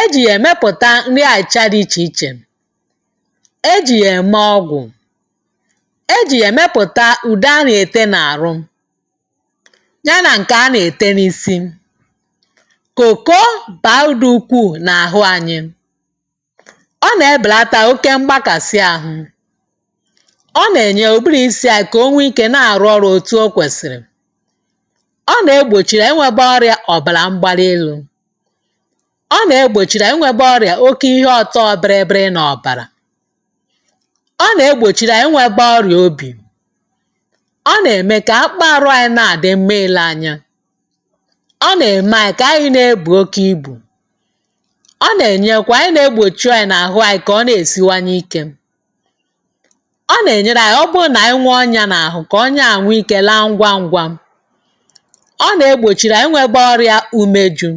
e ji ya emepụta nri achịcha dị iche iche. E ji ya eme ọgwụ. E ji ya emepụta ụde a na-ete n’ahụ, ya na nke a na ete n’isi. Cocoa bara uru dị ukwuu n’ahụ anyị. Ọ na-ebelata oke mgbakasi ahụ. Ọ na-eme ụbụrụ isi anyi ka o nwee ike na-arụ ọrụ etu o kwesịrị. Ọ na-egbochi inwebe ọrịe ọbara mgbali elu. Ọ nàa-egbochi inwėbe ọrịa oke ihe ọtọọ bịrị bịrị n’ọbara. Ọ na-egbochiri anyị inwebe ọrịa obi. Ọ na-eme ka akpụkppọ ahụ anyị na-adị mma ile anya. Ọ na-eme anyi ka anyị na-ebu oke ibu. Ọ na-enyekwa ịna-egbochu anyị n’àhụ anyị ka ọ na-esiwanye ike. Ọ na-enye aka ọ bụrụ na nwee ọnya n’ahụ, ka ọnya ahụ nwee ike laa ngwa ngwa. Ọ na-egbochiri anyị ịnwebe ọrịa umeju.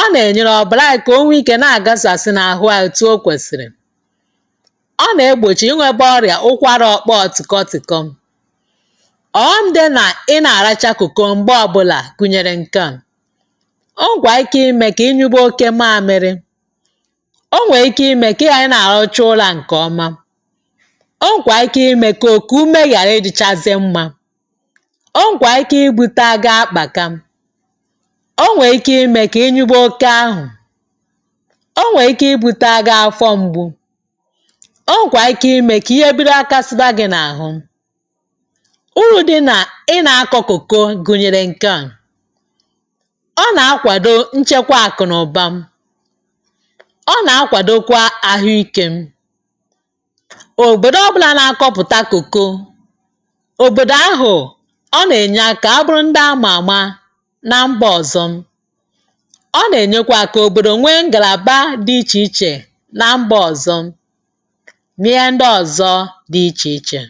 Ọ na-enyekwa ọbara anyị ka o nwee ike na-agasasị n’ahụ anyị etu o kwesịrị. Ọ na-egbochi ịnwebe ọrịa ụkwara ọkpọọ tịkọ tịkọm Ọghọm dị na ị na-aracha cocoa mgbe ọbụla gụnyere nke a; o nwekwara ike ime ka ị nyụba oke mamịrị. O nwere ike ime ka ị ghara ị na-arahụcha ụra nke ọma. O nwere ike ime ka okuku ume ghara ịdịchazi mma. O nwere ike ibute aga akpaka. O nwere ike ime ka ị nyụba oke ahụ. O nwere ike ibutere gị afọ mgbu. O nwekwara ike ime ka ihe bido ghakasịba gị n’ahụ. Uru dị na ịna akọ cocoa gunyere nke a; ọ na-akwado nchekwa akụ na ụba. ọ na-akwadokwa ahụike. Obodo ọbụna na-akọpụta cocoa, obodo ahụ na-abụ ndị a ma ama na mba ọzọ. Ọ na-enyekwa aka ka obodo bụrụ ndị nwere ngalaba dị iche iche na mba ọzọ ma ihe ndị ọzọ dị iche iche.